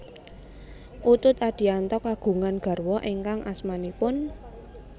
Utut Adianto kagungan garwa ingkang asmanipun